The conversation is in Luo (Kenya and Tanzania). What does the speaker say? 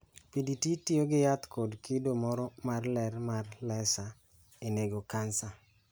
PDT tiyo gi yath kod kido moro mar ler mar laser e nego kansa.